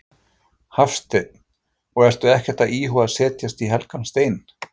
Hafsteinn: Og ertu ekkert að íhuga að setja í helgan stein?